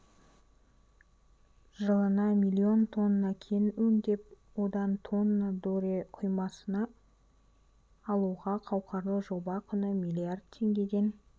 жылына млн тонна кен өңдеп одан тонна доре құймасын алуға қауқарлы жоба құны млрд теңгеден